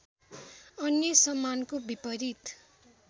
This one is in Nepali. अन्य सम्मानको विपरीत